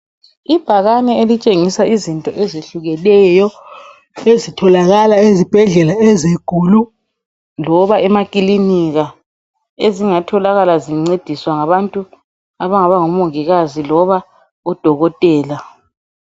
Ibhakane elitshingisa izinto ezehlukeneyo ezitholakala ezibhedlela ezinkulu loba emakilinika ezingatholakala zincediswa ngabantu abangaba ngumongikazi loba odokotela.